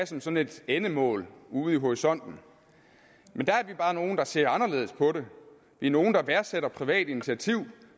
som sådan et endemål ude i horisonten men der er vi bare nogle der ser anderledes på det vi er nogle der værdsætter privat initiativ